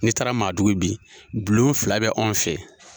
Ni taara maadugu bi, bulon fila bɛ anw fɛ.